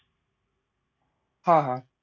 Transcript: हा, हा.